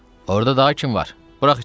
Orda daha kim var, burax içəri.